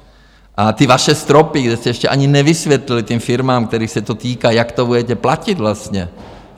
- a ty vaše stropy, kde jste ještě ani nevysvětlili těm firmám, kterých se to týká, jak to budete platit vlastně...